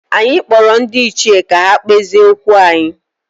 Anyị kpọrọ ndị ichie ka ha kpezie okwu anyị